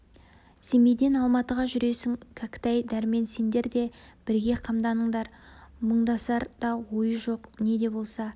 семейден алматыға жүресің кәкітай дәрмен сендер де бірге қамданыңдар мұндасар да ойы жоқ не де болса